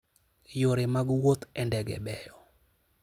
Yore mag wuoth e ndege beyo.